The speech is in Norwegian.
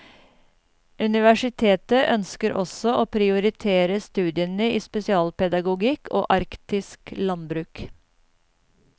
Universitetet ønsker også å prioritere studiene i spesialpedagogikk og arktisk landbruk.